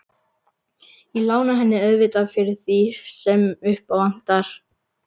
Ég lána henni auðvitað fyrir því sem upp á vantar.